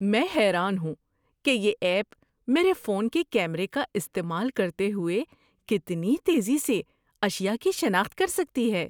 میں حیران ہوں کہ یہ ایپ میرے فون کے کیمرے کا استعمال کرتے ہوئے کتنی تیزی سے اشیاء کی شناخت کر سکتی ہے۔